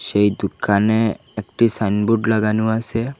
সেই দুকানে একটি সাইনবোর্ড লাগানো আছে।